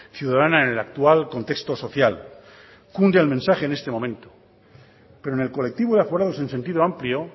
ciudadana en el actual contexto social cunde el mensaje en este momento pero en el colectivo de aforados en sentido amplio